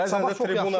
Sabah çox yaxşı oynadı.